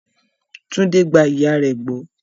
Tunde gba ìyà rẹ̀ gbọ́.